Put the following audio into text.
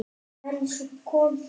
En svo kom það.